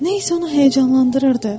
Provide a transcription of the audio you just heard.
Nə isə onu həyəcanlandırırdı.